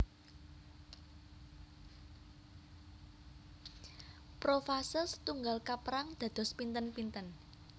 Profase setunggal kaperang dados pinten pinten